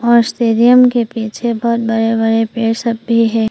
और स्टेडियम के पीछे बहुत बड़े बड़े पेड़ सब भी हैं।